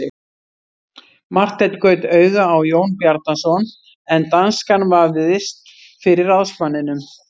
Marteinn gaut auga á Jón Bjarnason en danskan vafðist fyrir ráðsmanninum.